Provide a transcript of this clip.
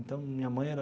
Então, minha mãe era...